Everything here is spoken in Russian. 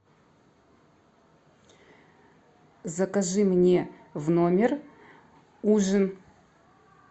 закажи мне в номер ужин